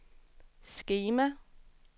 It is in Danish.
skema